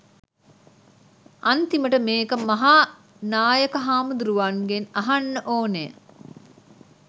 අන්තිමට මේක මහානායක හාමුදුරුවන්ගෙන් අහන්න ඕන